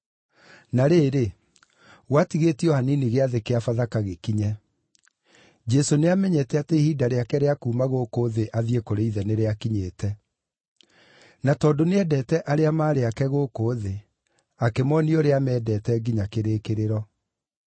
Na rĩrĩ, gwatigĩtie o hanini Gĩathĩ kĩa Bathaka gĩkinye. Jesũ nĩamenyete atĩ ihinda rĩake rĩa kuuma gũkũ thĩ athiĩ kũrĩ Ithe nĩrĩakinyĩte. Na tondũ nĩendete arĩa maarĩ ake gũkũ thĩ, akĩmoonia ũrĩa aamendete nginya kĩrĩkĩrĩro.